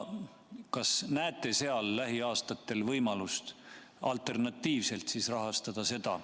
Kas te näete lähiaastatel võimalust seda alternatiivselt rahastada?